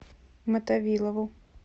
мотовилову